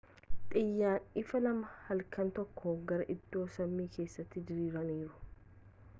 xiyyaan ifaa lama halkan tokkoon gara iddoo samii kessatti diriiraniiru